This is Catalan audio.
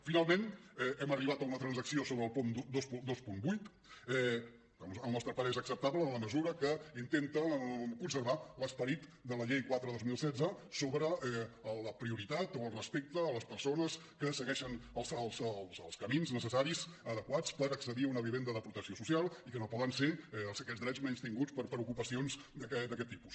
finalment hem arribat a una transacció sobre el punt vint vuit que al nostre parer és acceptable en la mesura que intenta conservar l’esperit de la llei quatre dos mil setze sobre la prioritat o el respecte a les persones que segueixen els camins necessaris adequats per accedir a una vivenda de protecció social i que no poden ser aquests drets menystinguts per ocupacions d’aquest tipus